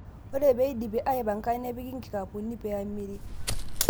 Ore pee eidipi aaipanka, nepiki nkikapuni pee emiri.